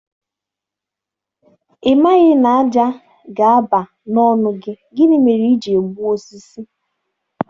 Ị maghị na ájá ga-aba n'ọnụ gị, gịnị mere i ji egbu osisi?